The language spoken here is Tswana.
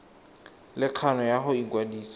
le kgano ya go ikwadisa